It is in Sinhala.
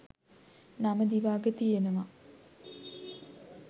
නම දිව අග තියෙනව